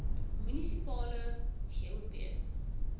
munisipale gop